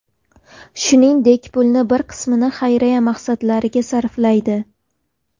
Shuningdek, pulning bir qismini xayriya maqsadlariga sarflaydi.